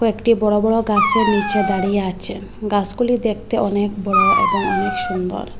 একটি বড় বড় গাসের নীচে দাঁড়িয়ে আছে গাসগুলি দেখতে অনেক বড় এবং অনেক সুন্দর।